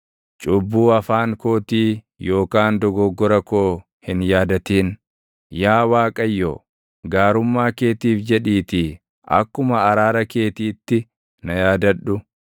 Cubbuu afaan kootii yookaan dogoggora koo hin yaadatin; yaa Waaqayyo, gaarummaa keetiif jedhiitii akkuma araara keetiitti na yaadadhu.